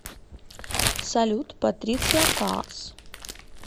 салют патриция каас